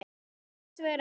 Svo er hins vegar ekki.